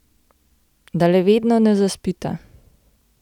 Da le vedno ne zaspita.